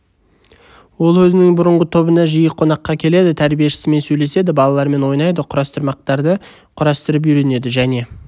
ол өзінің бұрынғы тобына жиі қонаққа келеді тәрбиешісімен сөйлеседі балалармен ойнайды құрастырмақтарды құрастырып үйренеді және